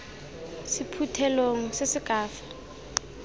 sephuthelong se se ka fa